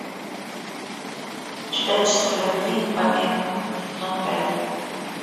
чудачества любви не помеха сезон пять